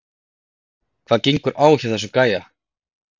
Hvað gengur á hjá þessum gæja???